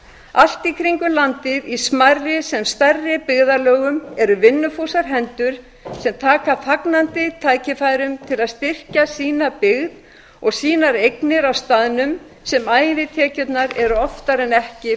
allt í kringum landið í smærri sem stærri byggðarlögum eru vinnufúsar hendur sem taka fagnandi tækifærum til að styrkja sína byggð og sínar eignir á staðnum sem ævitekjruanr eru oftar en ekki